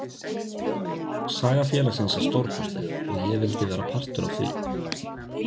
Saga félagsins er stórkostleg og ég vildi vera partur af því.